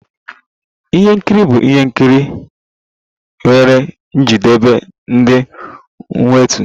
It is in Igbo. Ihe nkiri bụ ihe nkiri nwere njedebe dị mwute.